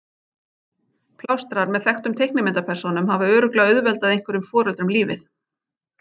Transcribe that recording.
Plástrar með þekktum teiknimyndapersónum hafa örugglega auðveldað einhverjum foreldrum lífið.